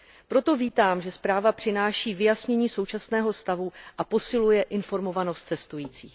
Proto vítám, že zpráva přináší vyjasnění současného stavu a posiluje informovanost cestujících.